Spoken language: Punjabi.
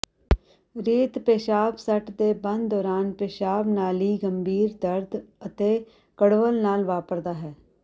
ਰੇਤ ਪੇਸ਼ਾਬ ਸੱਟ ਦੇ ਬੰਦ ਦੌਰਾਨ ਪਿਸ਼ਾਬ ਨਾਲੀ ਗੰਭੀਰ ਦਰਦ ਅਤੇ ਕਡ਼ਵੱਲ ਨਾਲ ਵਾਪਰਦਾ ਹੈ